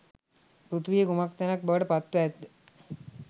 පෘථිවිය කුමක් තැනක් බවට පත්ව ඇත්ද?